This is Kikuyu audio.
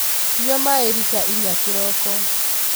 Nyua maĩrita inya kĩroko.